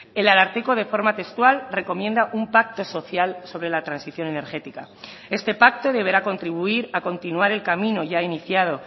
el ararteko de forma textual recomienda un pacto social sobre la transición energética este pacto deberá contribuir a continuar el camino ya iniciado